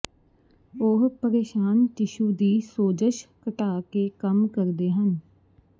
ਉਹ ਪਰੇਸ਼ਾਨ ਟਿਸ਼ੂ ਦੀ ਸੋਜਸ਼ ਘਟਾ ਕੇ ਕੰਮ ਕਰਦੇ ਹਨ